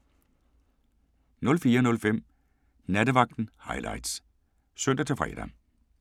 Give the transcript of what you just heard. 04:05: Nattevagten Highlights (søn-fre)